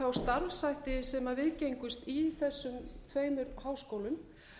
þá starfshætti sem viðgengust í þessum tveimur háskólum